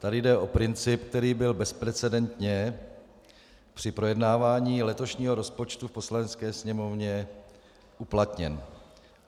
Tady jde o princip, který byl bezprecedentně při projednávání letošního rozpočtu v Poslanecké sněmovně uplatněn.